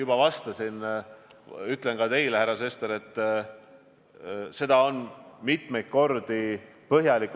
Kas Eestis on mõeldud selle peale, kuidas luuakse uusi reanimatsioonikohti?